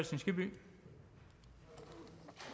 det